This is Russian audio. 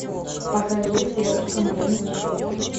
покажи девушка моей мечты